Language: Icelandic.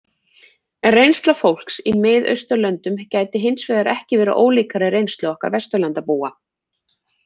En reynsla fólks í Mið-Austurlöndum gæti hins vegar ekki verið ólíkari reynslu okkar Vesturlandabúa.